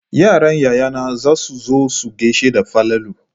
Yaran yayana za su zo su gashe da Falalu.